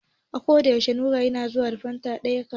A ko da yaushe Nura yana zuwa da fan ɗaya kasuwa.